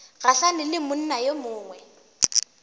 gahlane le monna yo mongwe